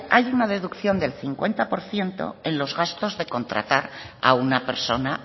hay una deducción del cincuenta por ciento en los gastos de contratar a una persona